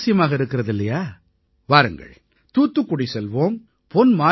சுவாரசியமாக இருக்கிறது இல்லையா வாருங்கள் தூத்துக்குடி செல்வோம் பொன்